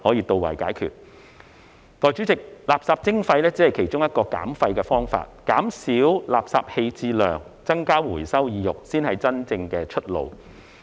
代理主席，垃圾徵費只是其中一個減廢的方法，減少垃圾棄置量、增加回收意欲，才是真正的出路。